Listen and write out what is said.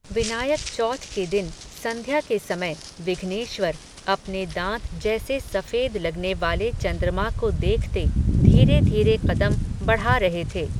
विनायक चौथ के दिन, संध्या के समय, विघ्नेश्वर, अपने दांत जैसे सफ़ेद लगने वाले चन्द्रमा को देखते, धीरेधीरे क़दम बढ़ा रहे थे